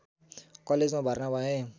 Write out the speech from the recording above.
कलेजमा भर्ना भए